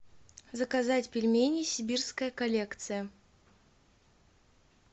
заказать пельмени сибирская коллекция